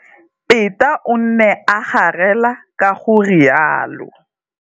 Peta o ne a garela ka go rialo.